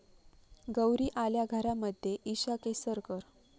गौरी आल्या घरा'मध्ये इशा केसकर